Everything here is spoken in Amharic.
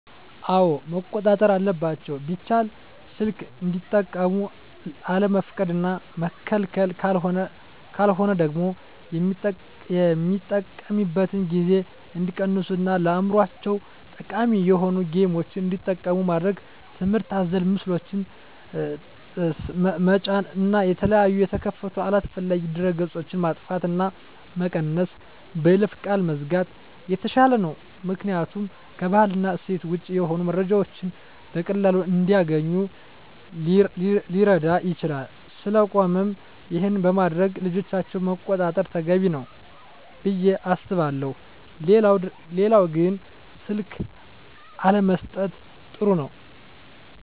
አወ መቆጣጠር አለባቸው ቢቻል ሰልክ እንዲጠቀሙ አለመፍቀድ እና መከልከል ካለሆነ ደግሞ የሚጠቀሚበትን ጊዜ እንዲቀንሡ እና ለአዕምሮቸው ጠቃሚ የሆኑ ጌምችን እንዲጠቀሙ ማድረግ ትምህርት አዘል ምስሎችን ጠጫን እና የተለያየ የተከፈቱ አላስፈላጊ ድህረ ገፆች ማጥፍት እና መቀነስ በይለፈ ቃል መዝጋት የተሻለ ነው ምክኒያቱም ከባህል እና እሴት ወጭ የሆኑ መረጃዎችን በቀላሉ እንዲገኙ ሊረግ ይችላል ስለቆነም ይሄን በማድረግ ልጆቻቸውን መቆጣጠር ተገቢ ነው። ብየ አስባለሁ ሌላው ግን ስልክ አለመሠጠት ጥሩ ነው